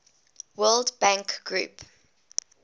world bank group